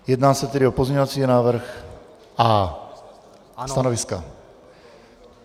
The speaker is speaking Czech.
Jedná se tedy o pozměňovací návrh A. Stanoviska?